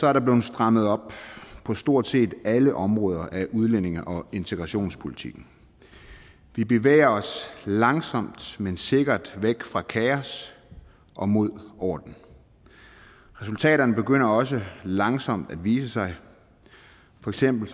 er der blevet strammet op på stort set alle områder af udlændinge og integrationspolitikken vi bevæger os langsomt men sikkert væk fra kaos og mod orden resultaterne begynder også langsomt at vise sig for eksempel